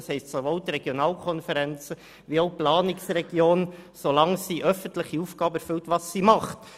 Dies gilt also sowohl für die Regionalkonferenzen als auch für die Planungsregionen, solange sie öffentliche Aufgaben erfüllen, was sie tun.